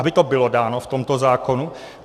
Aby to bylo dáno v tomto zákonu.